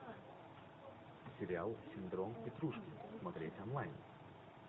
сериал синдром петрушки смотреть онлайн